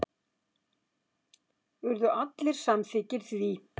Urðu allir samþykkir því.